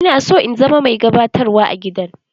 Ina so in zama mai gabatarwa a gidan.